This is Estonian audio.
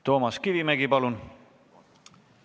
Toomas Kivimägi, palun!